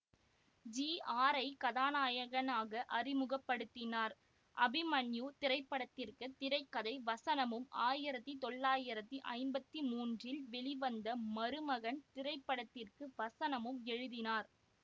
G ஆரைக் கதாநாயகனாக அறிமுக படுத்தினார் அபிமன்யு திரைப்படத்திற்கு திரை கதை வசனமும் ஆயிரத்தி தொள்ளாயிரத்தி ஐம்பத்தி மூன்றில் வெளிவந்த மருமகன் திரைப்படத்திற்கு வசனமும் எழுதினார்